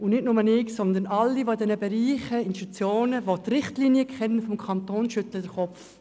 Nicht nur ich, sondern alle, die die Richtlinien im Kanton für diese Institutionen kennen, schütteln den Kopf.